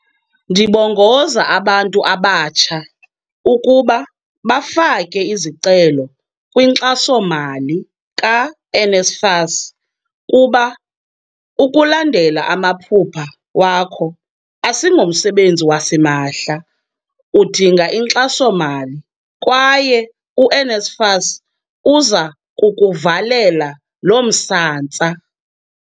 "Ndibongoza abantu abatsha ukuba bafake izicelo kwinkxaso-mali ka-NSFAS kuba ukulandela amaphupha wakho asingomsebenzi wasimahla, udinga inkxaso-mali, kwaye u-NSFAS uza kukuvalela lo msantsa."